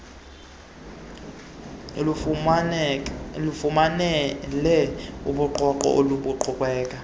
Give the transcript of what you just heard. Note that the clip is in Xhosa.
lufumane ubungqongqo obuqhubela